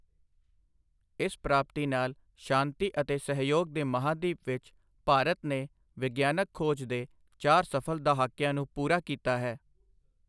ਇਸ ਪ੍ਰਾਪਤੀ ਨਾਲ ਸ਼ਾਂਤੀ ਅਤੇ ਸਹਿਯੋਗ ਦੇ ਮਹਾਂਦੀਪ ਵਿੱਚ ਭਾਰਤ ਨੇ ਵਿਗਿਆਨਕ ਖ਼ੋਜ ਦੇ ਚਾਰ ਸਫਲ ਦਹਾਕਿਆਂ ਨੂੰ ਪੂਰਾ ਕੀਤਾ ਹੈ।